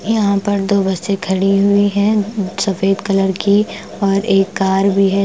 यहां पर दो बसे खड़ी हुई हैं सफेद कलर की और एक कार भी है ।